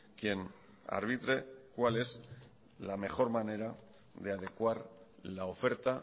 quien arbitre cuál es la mejor manera de adecuar la oferta